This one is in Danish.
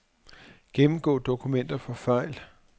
Gennemgå dokumenter for fejl.